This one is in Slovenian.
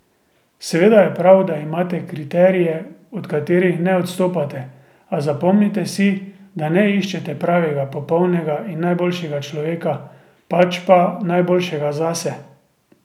Seveda je prav, da imate kriterije, od katerih ne odstopate, a zapomnite si, da ne iščete pravega, popolnega in najboljšega človeka, pač pa najboljšega zase.